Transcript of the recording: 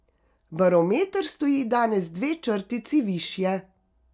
Barometer stoji danes dve črtici višje.